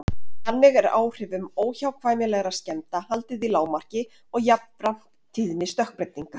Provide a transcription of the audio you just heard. Þannig er áhrifum óhjákvæmilegra skemmda haldið í lágmarki og jafnframt tíðni stökkbreytinga.